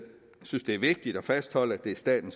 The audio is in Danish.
synes at det er vigtigt at fastholde at det er staten